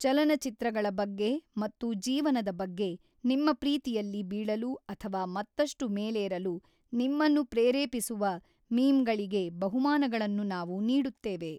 ಚಲನಚಿತ್ರಗಳ ಬಗ್ಗೆ ಮತ್ತು ಜೀವನದ ಬಗ್ಗೆ ನಿಮ್ಮ ಪ್ರೀತಿಯಲ್ಲಿ ಬೀಳಲು ಅಥವಾ ಮತ್ತಷ್ಟು ಮೇಲೇರಲು ನಿಮ್ಮನ್ನು ಪ್ರೇರೇಪಿಸುವ ಮೀಮ್ಗಳಿಗೆ ಬಹುಮಾನಗಳನ್ನು ನಾವು ನೀಡುತ್ತೇವೆ.